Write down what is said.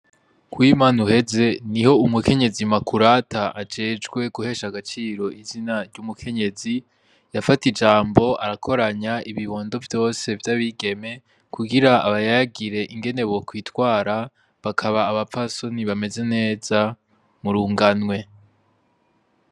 Kuwimana uheze ,niho umukenyezi Makurata ajejwe guhesha agaciro izina ry'umukenyezi ,yafata ijambo arakoranya ibibondo vyose vy'abigeme, kugira abayagire ingene bokwitwara, bakaba abapfasoni bameze neza murunganwe.